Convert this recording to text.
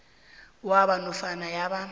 wabo nofana yabo